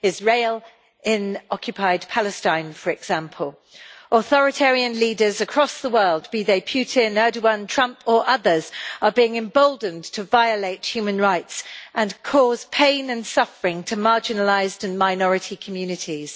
Israel in occupied Palestine, for example. Authoritarian leaders across the world be they Putin, Erdoğan, Trump or others are being emboldened to violate human rights and cause pain and suffering to marginalised and minority communities.